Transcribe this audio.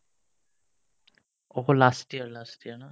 অকল last year last year ন